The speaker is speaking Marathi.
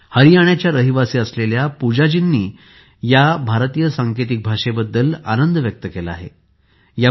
हरियाणाच्या रहिवासी असणाऱ्या पूजाजींनी या भारतीय सांकेतिक भाषेबद्दल आनंद व्यक्त केला आहे